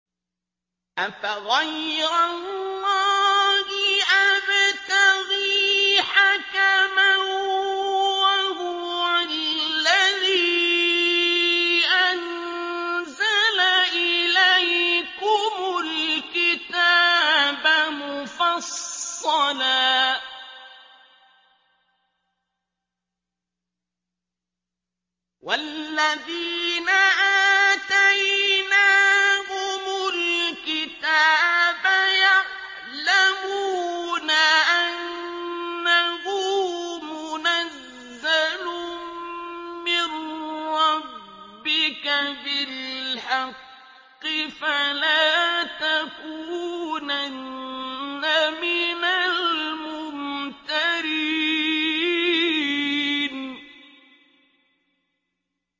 أَفَغَيْرَ اللَّهِ أَبْتَغِي حَكَمًا وَهُوَ الَّذِي أَنزَلَ إِلَيْكُمُ الْكِتَابَ مُفَصَّلًا ۚ وَالَّذِينَ آتَيْنَاهُمُ الْكِتَابَ يَعْلَمُونَ أَنَّهُ مُنَزَّلٌ مِّن رَّبِّكَ بِالْحَقِّ ۖ فَلَا تَكُونَنَّ مِنَ الْمُمْتَرِينَ